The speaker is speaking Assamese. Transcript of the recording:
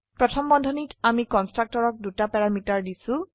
প্ৰথম বন্ধনীত আমি কন্সট্ৰকটৰক দুটা প্যাৰামিটাৰ দিছো